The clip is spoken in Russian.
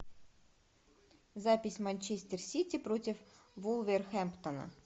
запись манчестер сити против вулверхэмптона